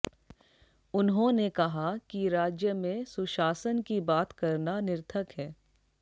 उन्होंने कहा कि राज्य में सुशासन की बात करना निर्थक है